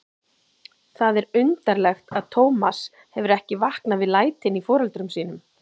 Það er undarlegt að Tómas hefur ekki vaknað við lætin í foreldrum sínum.